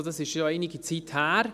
Das ist schon einige Zeit her.